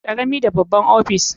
Karami da babba ofishi.